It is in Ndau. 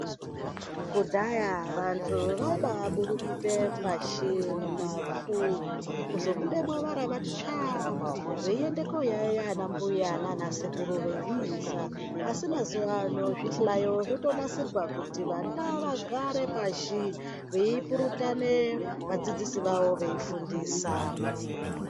Kudhaya vantu vaiba aburukute pashi mumavhu kuzobudemwo varavati tsvaa, veiende koyayiya anambuya nanasekuru veifundisa asi mazuwa ano zvihlayo zvotonasirwa kuti vana vagare pashi veipurutane vadzidzisi vavo veifundisa.